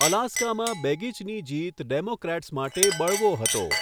અલાસ્કામાં બેગિચની જીત ડેમોક્રેટ્સ માટે બળવો હતો.